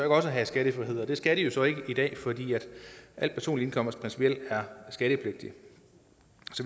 også have skattefrihed det skal de så ikke i dag fordi al personlig indkomst principielt er skattepligtig